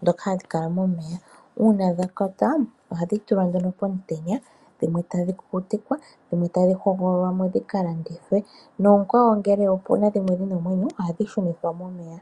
ndhoka hashi kala momeya. Uuna dha kwatwa ohadhi tulwa nduno po mutenya, dhimwe tadhi ku kutikwa, dhimwe tadhi ho gololwa mo dhi ka landithwe. Noo kwawo ngele opuna dhimwe dhina omwenyo ohadhi shu nithwa mo meya.